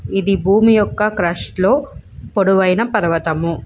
ఇది భూమి ఒక క్రుష్ లో పొడవయిన ఆయన పర్వతం.